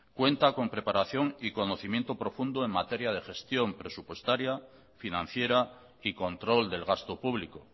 cuenta con preparación y conocimiento profundo en materia de gestión presupuestaria financiera y control del gasto público